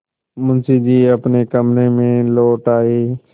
मुंशी जी अपने कमरे में लौट आये